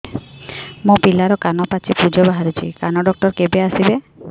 ମୋ ପିଲାର କାନ ପାଚି ପୂଜ ବାହାରୁଚି କାନ ଡକ୍ଟର କେବେ ଆସିବେ